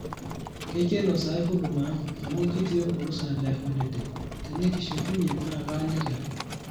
keikeno sahi huduma ang amu kitii orusa le holiday, tenikishukunye naa kaaliki ake